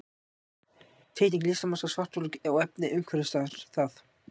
Teikning listamanns af svartholi og efni umhverfis það.